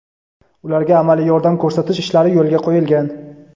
ularga amaliy yordam ko‘rsatish ishlari yo‘lga qo‘yilgan.